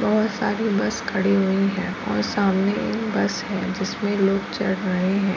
बहोत सारी बस खड़ी हुई हैं और सामने एक बस है जिसमें लोग चढ़ रहे हैं।